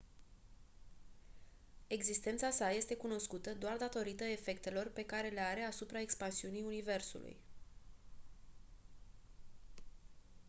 existența sa este cunoscută doar datorită efectelor pe care le are asupra expansiunii universului